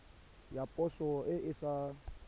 ya poso e e sa